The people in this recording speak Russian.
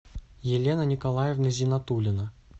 елена николаевна зинатулина